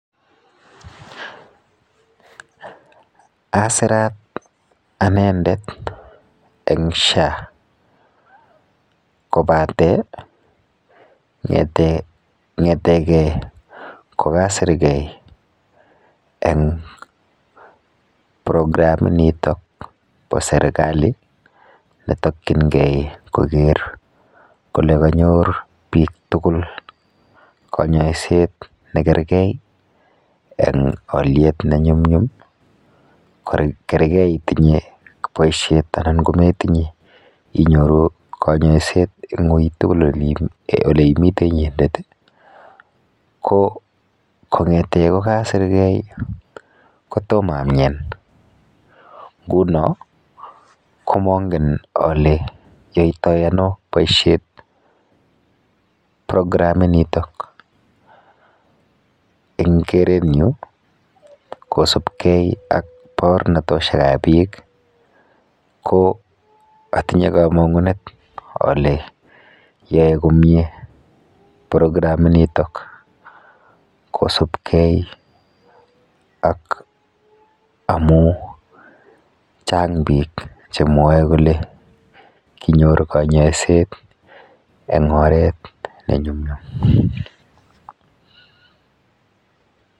Asirat anendet eng SHA kobate kong'ete kokasirgei eng programinitok po serikali netokchingei kole kanyor biik tugul kanyoiset nekergei eng olyet nemi ng'uny, kergei itinye boishet anan ko metinye inyoru kanyoiset eng ui tugul oleimite inyendet ko kong'ete kokasirgei kotomo amien nguno ko mongen ale yoitoi ano boishet programinitok. Eng kerenyu kosubkei ak baornatoshekap biik ko atinye kamang'unet ale yoe komie programinitok kosubkei ak amu chang biik chemwoe kole kinyor kanyoiset eng oret nenyumnyum.